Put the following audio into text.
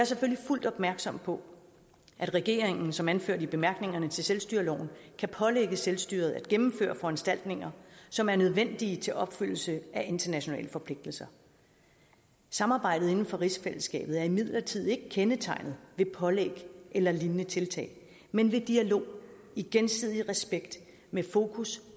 selvfølgelig fuldt opmærksom på at regeringen som anført i bemærkningerne til selvstyreloven kan pålægge selvstyret at gennemføre foranstaltninger som er nødvendige til opfyldelse af internationale forpligtelser samarbejdet inden for rigsfællesskabet er imidlertid ikke kendetegnet ved pålæg eller lignende tiltag men ved dialog i gensidig respekt med fokus